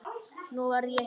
Nú verð ég hissa.